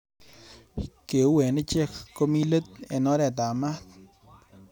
Keu eng Ichek komi let eng oretab mat